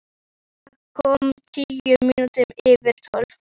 Tinna kom tíu mínútur yfir tólf.